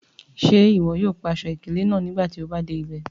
Ṣe iwọ yoo pa aṣọ-ikele naa nigbati o ba de ibẹ?